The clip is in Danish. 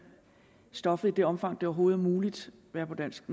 stoffet i det omfang det overhovedet er muligt være på dansk